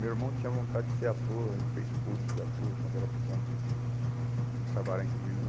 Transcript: Meu irmão tinha vontade de ser ator, ele fez curso de ator quando era pequeno, em em Sabará, inclusive.